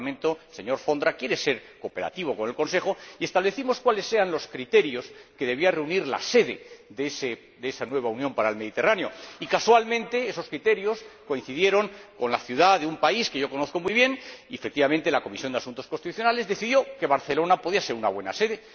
Este Parlamento, señor Vondra, quiere cooperar con el Consejo y establecimos cuáles eran los criterios que debían reunir la sede de esa nueva Unión para el Mediterráneo y, casualmente, esos criterios coincidieron con la ciudad de un país que yo conozco muy bien y, efectivamente, la Comisión de Asuntos Constitucionales decidió que Barcelona podía ser una buena sede.